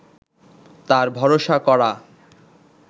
তার ভরসা করা